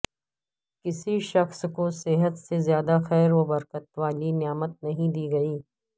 کسی شخص کو صحت سے زیادہ خیر و برکت والی نعمت نہیں دی گئی